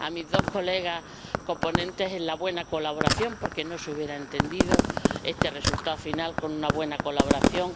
también a mis dos colegas coponentes por la buena colaboración, porque no se hubiera entendido este resultado final sin una buena colaboración